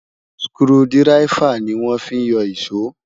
skru diraifa ní wọn fí yó iso